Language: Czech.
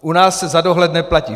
U nás se za dohled neplatí.